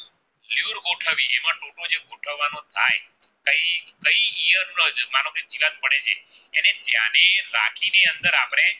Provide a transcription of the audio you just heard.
કઈંક ઈયત પ્રજનો માનો કે જીવાત પડે છેએને ધ્યાને રાખી ને અંદર આપણે